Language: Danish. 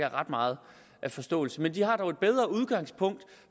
ret meget forståelse men de har dog et bedre udgangspunkt